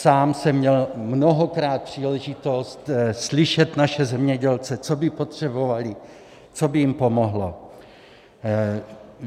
Sám jsem měl mnohokrát příležitost slyšet naše zemědělce, co by potřebovali, co by jim pomohlo.